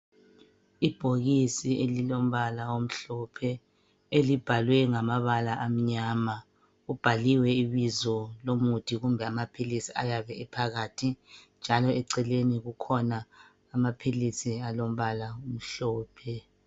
Ibhokisi elilombala omhlophe elibhalwe ngamabala amnyama kubhaliwe ibizo lomuthi kumbe amaphilisi ayabe ephakathi njalo eceleni kukhona amaphilisi alombala omhlophe.